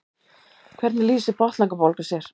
hvernig lýsir botnlangabólga sér